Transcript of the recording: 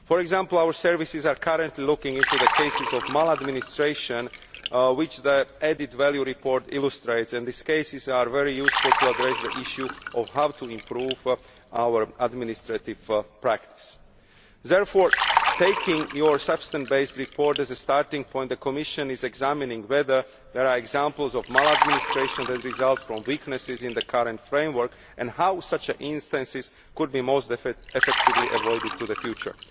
For example, our services are currently looking into the cases of maladministration identified by the added value report, and these cases are very useful in addressing the issue of how to improve our administrative practices. Therefore, taking your substance based report as a starting point, the Commission is examining whether there are examples of maladministration that result from weaknesses in the current framework, and how such instances can be most effectively avoided in the future.